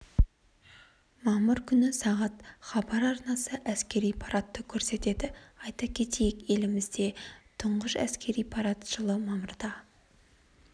мамыр күні сағат хабар арнасы әскери парадты көрсетеді айта кетейік елімізде тұңғыш әскери парад жылы мамырда